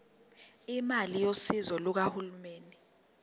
imali yosizo lukahulumeni